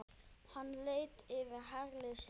Hann leit yfir herlið sitt.